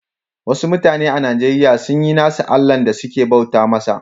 Wassu mutane a Nijeriya sun yi nassu Allah da suke bauta masa.